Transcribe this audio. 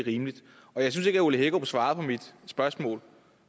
rimeligt og jeg synes ikke at herre ole hækkerup svarede på mit spørgsmål